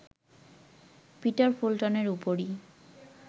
Peter ফুলটনের উপরই